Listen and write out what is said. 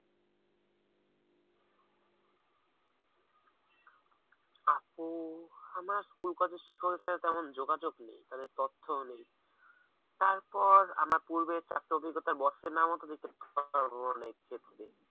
আপু আমার school college এর শিক্ষকের সাথে তেমন যোগাযোগ নেই, তাদের তথ্যও নেই; তারপর আমার পূর্বে চারটে অভিজ্ঞতার boss এর নামও তো দিতে পারবো এক্ষেত্রে।